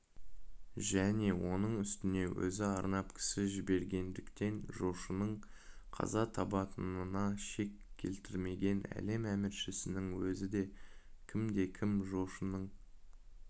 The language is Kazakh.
және оның үстіне өзі арнап кісі жібергендіктен жошының қаза табатынына шек келтірмеген әлем әміршісінің өзі де кімде-кім жошының